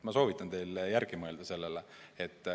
Ma soovitan teil selle üle järele mõelda.